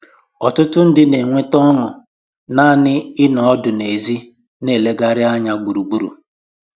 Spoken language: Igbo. Ọtụtụ ndị na-enweta ọṅụ naanị ịnọ ọdụ n'èzí na-elegharị anya gburugburu